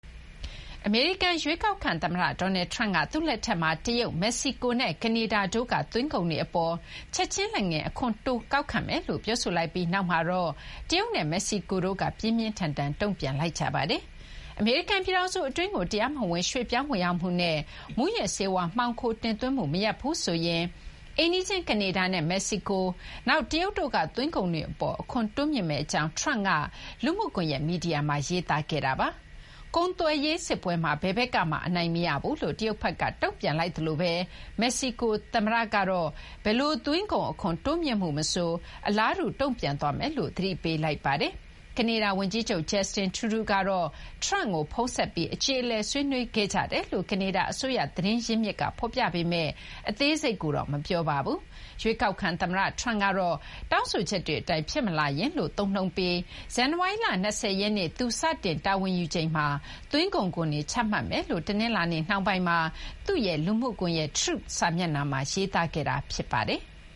အမေရိကန် ရွေးကောက်ခံ သမ္မတ Donald Trump က သူ့လက်ထက်မှာ တရုတ်၊ မက္ကဆီကိုနဲ့ ကနေဒါ တို့က သွင်းကုန်တွေ အပေါ် ချက်ချင်း လက်ငင်း အခွန်တိုးကောက်ခံမယ်လို့ ပြောဆိုလိုက်ပြီး နောက်မှာတော့ တရုတ်နဲ့ မက္ကဆီကိုတို့က တုံ့ပြန်လိုက်ကြပါတယ်။ အမေရိကန် ပြည်ထောင်စု အတွင်းကို တရားမဝင် ရွှေ့ပြောင်း ဝင်ရောက်မှုနဲ့ မူးယစ်ဆေးဝါး မှောင်ခိုတင်သွင်းမှု မရပ်ဘူးဆိုရင် အိမ်နီးချင်း ကနေဒါနဲ့ မက္ကဆီကို၊ တရုတ်တို့က သွင်းကုန်တွေ အပေါ် အခွန် တိုးမြှင့်မယ့် အကြောင်း Trump က လူမှုကွန်ရက်မီဒီယာမှာ ရေးသားခဲ့တာပါ။ ကုန်သွယ်ရေး စစ်ပွဲမှာ ဘယ်ဘက်ကမှ အနိုင်မရဘူးလို့ တရုတ်က တုံ့ပြန်လိုက်သလိုပဲ မက္ကဆီကို သမ္မတ Claudia Sheinbaum ကတော့ ဘယ်လို သွင်းကုန် အခွန်တိုးမြှင့်မှု မဆို အလားတူ တုံ့ပြန်သွားမယ်လို့ သတိပေးလိုက်ပါတယ်။ ကနေဒါ ဝန်ကြီးချုပ် Justin Trudeau ကတော့ Trump ကို ဖုန်းဆက်ပြီး အကျေအလည် ဆွေးနွေးခဲ့ကြတယ်လို့ ကနေဒါ အစိုးရ သတင်းရင်းမြစ်က ဖော်ပြပေမယ့် အသေးစိတ်ကိုတော့ မပြောပါဘူး။ ရွေးကောက်ခံ သမ္မတ Trump ကတော့ တောင်းဆိုချက်တွေ အတိုင်း ဖြစ်မလာရင်လို့ သုံးနှုန်းပြီး ဇန်နဝါရီလ ၂၀ ရက်နေ့ သူ စတင်တာဝန်ယူချိန်မှာ သွင်းကုန်ခွန်တွေ ချမှတ်မယ်လို့ တနင်္လာနေ့ နှောင်းပိုင်းမှာ သူ့ရဲ့ လူမှုကွန်ရက် Truth စာမျက်နှာမှာ ရေးသားခဲ့တာ ဖြစ်ပါတယ်။